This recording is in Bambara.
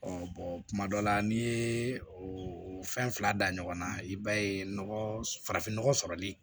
kuma dɔ la n'i ye fɛn fila da ɲɔgɔn na i b'a ye nɔgɔ farafin nɔgɔ sɔrɔli